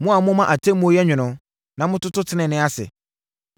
Mo a moma atemmuo yɛ nwono na mototo tenenee ase.